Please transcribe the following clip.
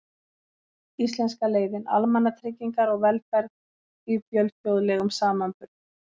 Íslenska leiðin: Almannatryggingar og velferð í fjölþjóðlegum samanburði.